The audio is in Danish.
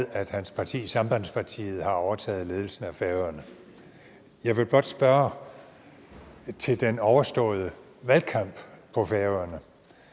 at hans parti sambandspartiet har overtaget ledelsen af færøerne jeg vil blot spørge til den overståede valgkamp på færøerne